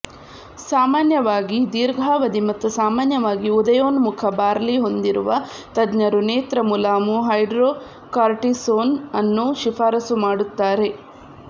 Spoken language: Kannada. ಸಾಮಾನ್ಯವಾಗಿ ದೀರ್ಘಾವಧಿ ಮತ್ತು ಸಾಮಾನ್ಯವಾಗಿ ಉದಯೋನ್ಮುಖ ಬಾರ್ಲಿ ಹೊಂದಿರುವ ತಜ್ಞರು ನೇತ್ರ ಮುಲಾಮು ಹೈಡ್ರೊಕಾರ್ಟಿಸೋನ್ ಅನ್ನು ಶಿಫಾರಸು ಮಾಡುತ್ತಾರೆ